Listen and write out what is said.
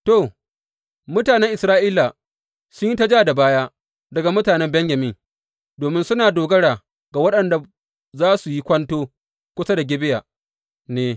To, mutanen Isra’ila sun yi ta ja da baya daga mutanen Benyamin domin suna dogara ga waɗanda sa su yi kwanto kusa da Gibeya ne.